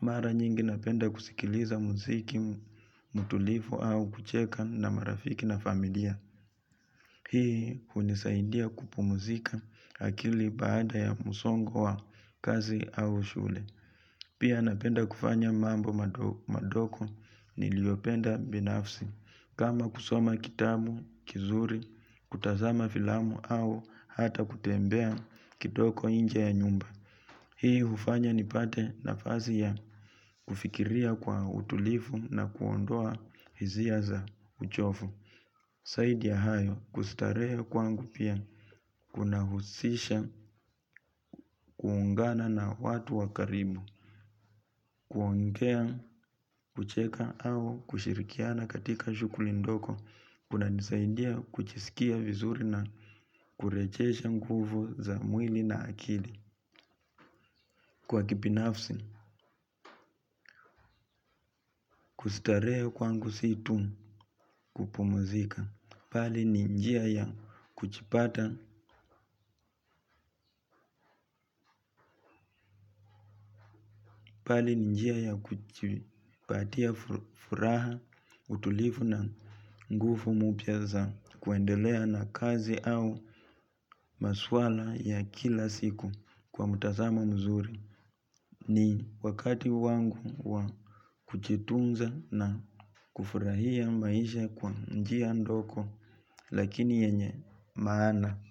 Mara nyingi napenda kusikiliza muziki mutulivu au kucheka na marafiki na familia. Hii hunisaidia kupumzika akili baada ya musongo wa kazi au shule. Pia napenda kufanya mambo madoko niliopenda binafsi. Kama kusoma kitabu, kizuri, kutazama filamu au hata kutembea kidogo inje ya nyumba. Hii hufanya nipate nafasi ya kufikiria kwa utulifu na kuondoa hizia za uchofu. Saidi ya hayo kustarehe kwangu pia kunahusisha kuungana na watu wakarimu. Kuongea, kucheka au kushirikiana katika shukuli ndoko. Kuna nisaindia kuchisikia vizuri na kurechesha nguvu za mwili na akili. Kwa kipinafsi, kustarehe kwangu si tu kupumuzika pali ni njia ya kuchipata, bali ni njia ya kujipatia furaha, utulivu, na nguvu mpya za kuendelea na kazi au maswala ya kila siku kwa mtazamo mzuri. Ni wakati wangu wa kujitunza na kufurahia maisha kwa njia ndoko lakini yenye maana.